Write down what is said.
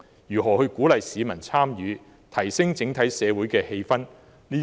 如何鼓勵市民參與，提升整體社會的氣氛？